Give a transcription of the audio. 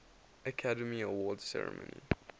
academy awards ceremony